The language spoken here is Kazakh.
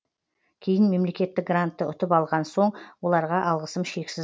кейін мемлекеттік грантты ұтып алған соң оларға алғысым шексіз